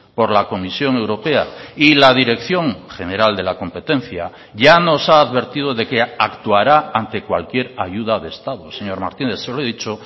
por la comisión europea y la dirección general de la competencia ya nos ha advertido de que actuará ante cualquier ayuda de estado señor martínez se lo he dicho